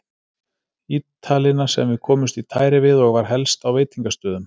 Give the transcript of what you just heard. Ítalina sem við komumst í tæri við og var helst á veitingastöðum.